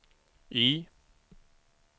Y